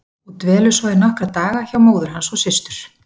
Og dvelur svo í nokkra daga hjá móður hans og systur.